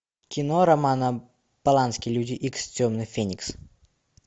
кино романа полански люди икс темный феникс